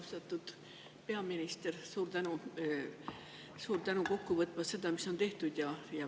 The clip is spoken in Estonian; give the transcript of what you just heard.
Austatud peaminister, suur tänu kokku võtmast seda, mis on tehtud!